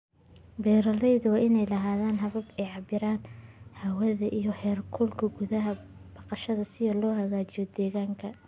Beeralayda waa inay lahaadaan habab ay ku cabbiraan hawada iyo heerkulka gudaha baqashada si loo hagaajiyo deegaanka.